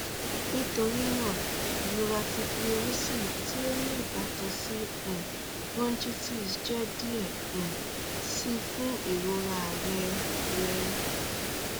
nitorina irọra ti pleurisy ti o ni ibatan si um bronchitis jẹ diẹ um sii fun irora rẹ rẹ